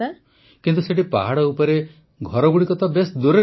ପ୍ରଧାନମନ୍ତ୍ରୀ କିନ୍ତୁ ସେଠି ପାହାଡ଼ ଉପରେ ଘରଗୁଡ଼ିକ ତ ଦୂରରେ ଦୂରରେ